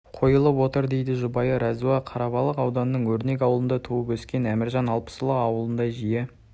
қойылып отыр дейді жұбайы рауза қарабалық ауданының өрнек ауылында туып өскен әміржан алпысұлы ауылында жиі